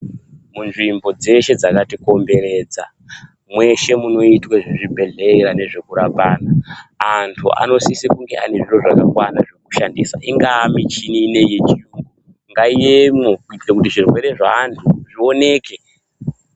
Munzvimbo dzeshe dzakatikomberedza mweshe munoitwe zvezvibhedhelera nezvekurapa anhu antu anosisa kunge aine zviro zvakakwana zvekushandisa ingava michini ino iyi yechirungu ngaiyemo kuitira kuti zvirwere zveantu zvioneke .